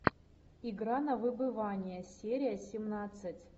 игра на выбывание серия семнадцать